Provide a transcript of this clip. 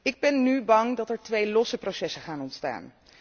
Ik ben nu bang dat er twee aparte processen gaan ontstaan.